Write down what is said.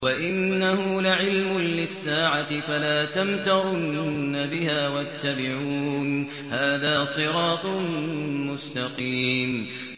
وَإِنَّهُ لَعِلْمٌ لِّلسَّاعَةِ فَلَا تَمْتَرُنَّ بِهَا وَاتَّبِعُونِ ۚ هَٰذَا صِرَاطٌ مُّسْتَقِيمٌ